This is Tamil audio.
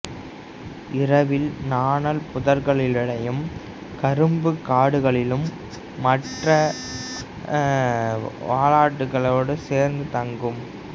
இரவில் நாணல்புதர்களிடையேயும் கரும்புக் காடுகளிலும் மற்ற வாலாட்டிகளோடு சேர்ந்து தங்கும்